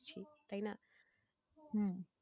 তাই না?